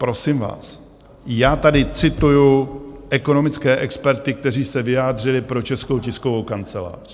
Prosím vás, já tady cituji ekonomické experty, kteří se vyjádřili pro Českou tiskovou kancelář.